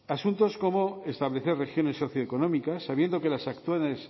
asuntos como establecer regiones socioeconómicas sabiendo que las actuales